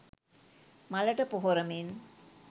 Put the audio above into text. මලට පොහොර මෙන්